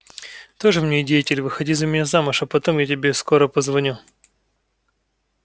тоже мне деятель выходи за меня замуж а потом я тебе скоро позвоню